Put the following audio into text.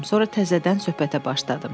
Sonra təzədən söhbətə başladım.